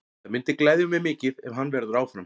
Það myndi gleðja mig mikið ef hann verður áfram.